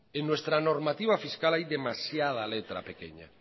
en nuestra normativa fiscal hay demasiada letra pequeña